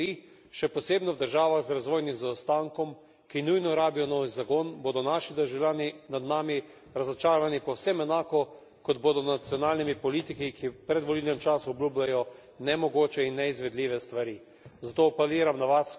V kolikor se to ne zgodi, še posebno v državah z razvojnim zaostankom, ki nujno rabijo nov zagon, bodo naši državljani nad nami razočarani povsem enako, kot bodo nad nacionalnimi politiki, ki v predvolilnem času obljubljajo nemogoče in neizvedljive stvari.